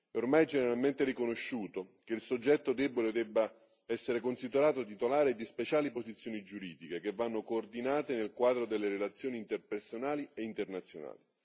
Ormai è generalmente riconosciuto che il soggetto debole deve essere considerato titolare di speciali posizioni giuridiche che vanno coordinate nel quadro delle relazioni interpersonali e internazionali.